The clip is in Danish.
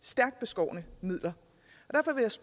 så